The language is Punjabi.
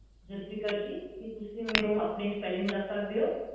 ਜ਼ੁਲਫ਼ੀਕ਼ਰ ਜੀ ਕੀ ਤੁਸੀਂ ਮੈਨੂੰ ਆਪਣੇ spelling ਦੱਸ ਸਕਦੇ ਊ